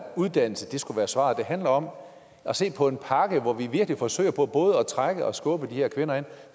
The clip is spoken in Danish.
uddannelse skulle være svaret det handler om at se på en pakke hvor vi virkelig forsøger på både at trække og skubbe de her kvinder ind